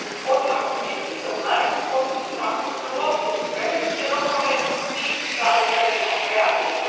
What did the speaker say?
Pozivam Komisiju da u narednim postupcima uzme u obzir vremenske rokove i pravovremeno reagira.